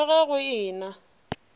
le ge go e na